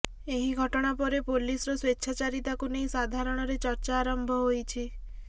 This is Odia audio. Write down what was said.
ଏହି ଘଟଣାପରେ ପୋଲିସର ସ୍ୱେଛାଚାରୀତାକୁୁ ନେଇ ସାଧାରଣରେ ଚର୍ଚ୍ଚା ଆରମ୍ଭ ହୋଇଛି